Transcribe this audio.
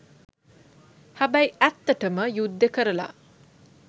හැබැයි ඇත්තටම යුද්දෙ කරලා